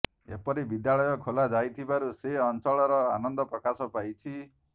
ଏପରି ବିଦ୍ୟାଳୟ ଖୋଲା ଯାଇଥିବାରୁ ସେ ଅଂଚଳର ଆନନ୍ଦ ପ୍ରକାଶ ପାଇଛି